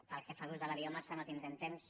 pel que fa a l’ús de la biomassa no tindrem temps